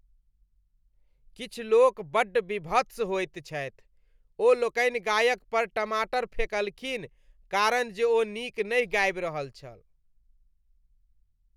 किछु लोक बड्ड वीभत्स होएत छथि। ओ लोकनि गायक पर टमाटर फेंकलखीन कारण जे ओ नीक नहि गाबि रहल छल।